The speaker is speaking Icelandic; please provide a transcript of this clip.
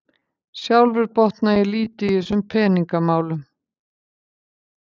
Sjálfur botna ég lítið í þessum peningamálum